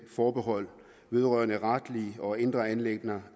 forbehold vedrørende retlige og indre anliggender